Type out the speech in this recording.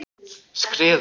Skriðu